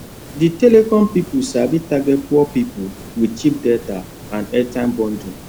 the telecom people sabi target poor people with cheap data and airtime bundle